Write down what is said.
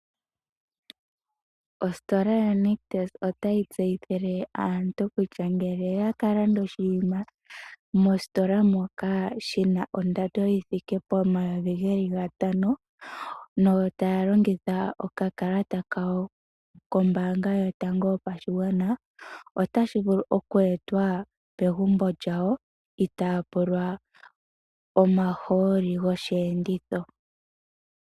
Ositola yaNictus otayi tseyithile aantu kutya, ngele oyakalanda oshiima mositola moka shina ondando yithike pomayovi geli gatano na otaya longitha okakalata kawo kombaanga yotango yopashigwana, otashi vulu okweetwa pegumbo lyawo itaya pulwa omahooli gosheenditho.